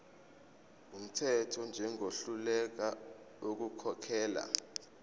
wumthetho njengohluleka ukukhokhela